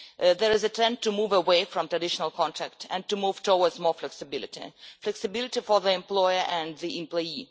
There is a trend to move away from traditional contracts and to move towards more flexibility flexibility for the employer and the employee.